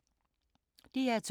DR2